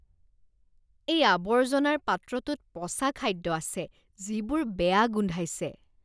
এই আৱৰ্জনাৰ পাত্ৰটোত পচা খাদ্য আছে যিবোৰ বেয়া গোন্ধাইছে।